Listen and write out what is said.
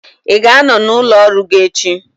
ị ga-anọ n'ụlọ ọrụ gị echi?